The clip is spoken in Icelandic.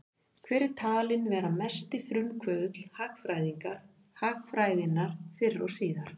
Hver er talinn vera mesti frumkvöðull hagfræðinnar fyrr og síðar?